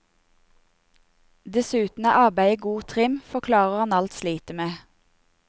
Dessuten er arbeidet god trim, forklarer han alt slitet med.